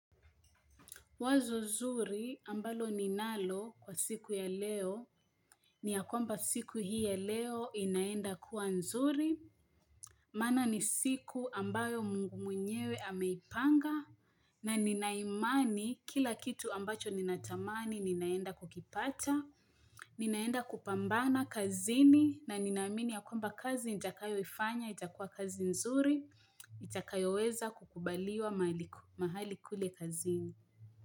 Wazo zuri ambalo ninalo kwa siku ya leo, ni ya kwamba siku hii ya leo inaenda kuwa nzuri, mana ni siku ambayo mungu mwenyewe ameipanga, na ninaimani kila kitu ambacho ninatamani ninaenda kukipata, ninaenda kupambana kazini, na ninaimini ya kwamba kazi ntakayo ifanya, nchakua kazi nzuri, nchakayo weza kukubaliwa mahali kule kazini.